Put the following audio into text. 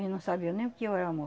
Eles não sabiam nem o que eu era amor.